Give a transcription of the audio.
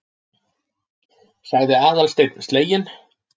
sagði Aðalsteinn sleginn.